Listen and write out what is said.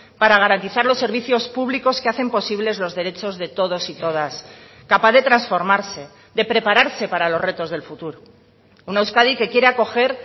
para garantizar los servicios públicos que hacen posibles los derechos de todos y todas capaz de transformarse de prepararse para los retos del futuro una euskadi que quiere acoger